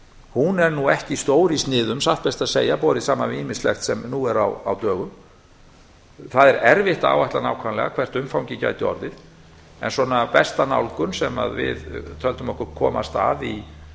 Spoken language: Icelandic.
hún er nú ekki stór í sniðum satt best að segja borið saman við ýmislegt sem nú er á dögum það er erfitt að áætla nákvæmlega hvert umfangið gæti orðið en besta nálgun sem við töldum okkur komast að í